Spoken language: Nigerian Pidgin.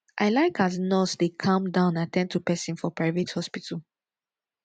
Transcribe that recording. i like as nurse dem dey calm down at ten d to pesin for private hospital